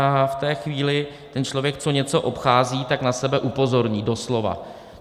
A v té chvíli ten člověk, co něco obchází, tak na sebe upozorní, doslova.